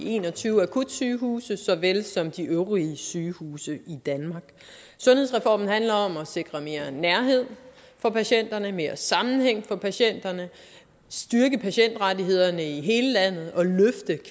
en og tyve akutsygehuse så vel som for de øvrige sygehuse i danmark sundhedsreformen handler om at sikre mere nærhed for patienterne mere sammenhæng for patienterne at styrke patientrettighederne i hele landet og